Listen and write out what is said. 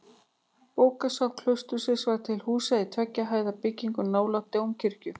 Bókasafn klaustursins var til húsa í tveggja hæða byggingu nálægt dómkirkjunni.